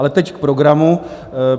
Ale teď k programu.